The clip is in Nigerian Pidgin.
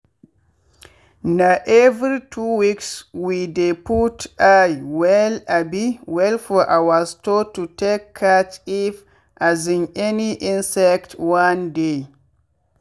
na every 2weeks we dey put eye well um well for our store to take catch if um any insect wan dey